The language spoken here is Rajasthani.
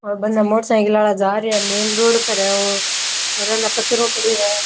और बने मोटरसाइकिल वाला जा रिया है मैंन रोड पर है वो और अने कचराे पड्यो है।